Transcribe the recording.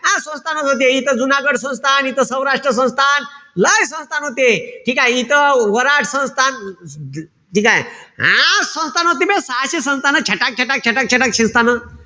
संस्थान होते. इथं जुनागड संस्थान, इथं सौराष्ट संस्थान, लय संस्थान होते. ठीकेय? इथं वराड संस्थान ठीकेय? सहाशे संस्थान. छटाक-छटाक-छटाक संस्थानं.